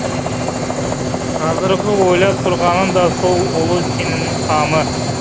қазіргі ойлап тұрғаны да сол ұлы сенімнің қамы